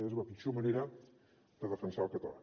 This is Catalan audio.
és la pitjor manera de defensar el català